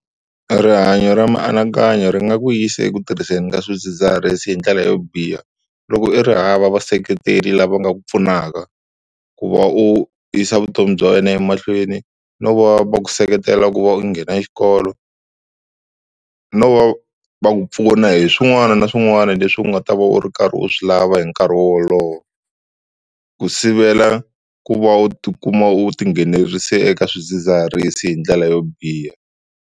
Rihanyo ra mianakanyo ri nga ku yisa eku tirhiseni ka swidzidziharisi hi ndlela yo biha loko i ri hava vaseketeri lava nga ku pfunaka, ku va u yisa vutomi bya wena emahlweni no va va ku seketela ku va u nghena xikolo no va ku pfuna hi swin'wana na swin'wana leswi u nga ta va u ri karhi u swi lava hi nkarhi wolowo. Ku sivela ku va u tikuma u tinghenelerisa eka swidzidziharisi hi ndlela yo biha.